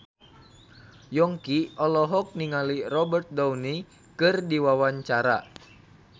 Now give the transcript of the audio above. Yongki olohok ningali Robert Downey keur diwawancara